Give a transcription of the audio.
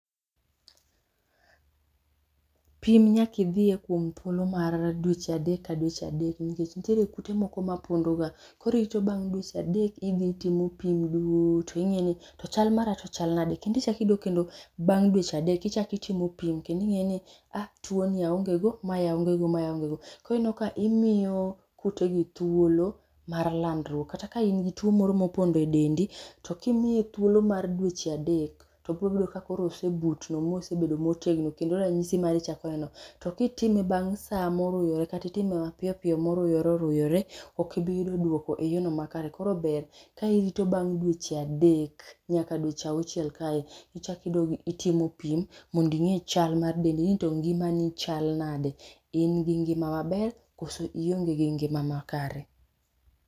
Pim nyaka idhie kuom thuolo mar dweche adek ka dweche adek nikech nitie tuo moko mapondoga. Koro irito bang' dweche adek idhi itimo pim duto ing'e ni to chal mara to chal nade kendo iichako idok kendo bang' dweche adek ichako itimo pimo ing'eni tuoni aongego, mae aonge go, mae aongego. Koro ineno imiyo kutegi thuolo mar landruok kata ka in gi tuo moro mopondo e dendi, to kimiye thuolo mar dweche adek, to biro yudo ka koro osebutno mosebedo motegno kendo ranyisi mare chako neno. To kitime bang' sa moruyore kata itime mapiyo piyo moruyore oruyore, ok ibi yudo duoko eyor makare, kor ber ka irito bang' dweche adek nyaka dweche auchiel kae eka idok itimo pim mondo ing'e chal mar del, mondo ing'e nito ngimani chal nade. In gi ngima maber kose ionge gi ngima makare.